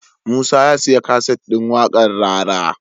Musa ya siya kaset din waƙar rara